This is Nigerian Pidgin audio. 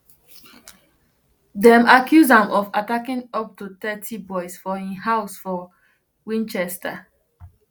dem accuse am of attacking up to thirty boys for im house for winchester